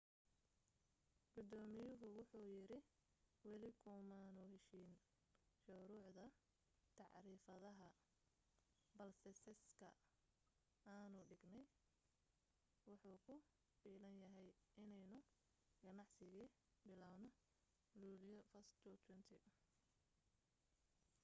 gudoomiyuhu wuxu yiri weli kumaanu heshiin shuruucda tacriifadaha balse seeska aanu dhignay wuxu ku filan yahay inaynu ganacsi bilawno luulyo 1 2020